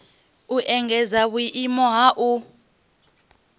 u engedza vhuimo ha u